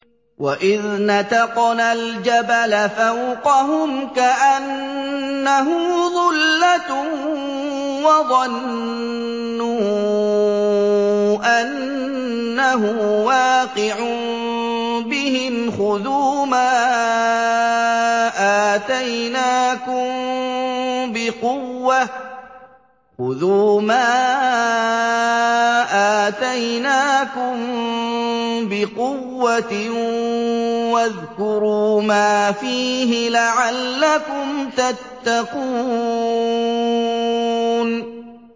۞ وَإِذْ نَتَقْنَا الْجَبَلَ فَوْقَهُمْ كَأَنَّهُ ظُلَّةٌ وَظَنُّوا أَنَّهُ وَاقِعٌ بِهِمْ خُذُوا مَا آتَيْنَاكُم بِقُوَّةٍ وَاذْكُرُوا مَا فِيهِ لَعَلَّكُمْ تَتَّقُونَ